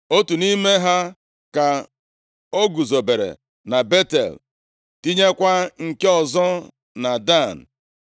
Otu nʼime ha ka o guzobere na Betel, tinyekwa nke ọzọ na Dan.